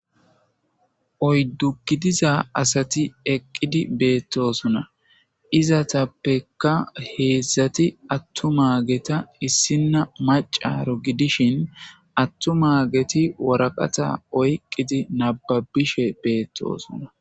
Oyddu gidiza asati eqqidi beettosona izatappekka heedzdzati attu maageta issinna macaro gidishin attu maageti woraqata oyqqidi nababishe beettosona.